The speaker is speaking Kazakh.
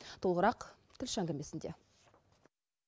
толығырақ тілші әңгімесінде